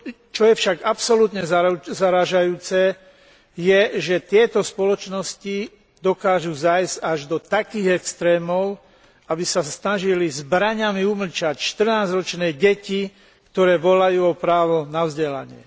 Čo je však absolútne zarážajúce, je, že tieto spoločnosti dokážu zájsť až do takých extrémov, aby sa snažili zbraňami umlčať 14 ročné deti, ktoré volajú o právo na vzdelanie.